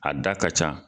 A da ka ca